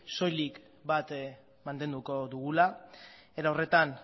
soilik bat mantenduko dugula era horretan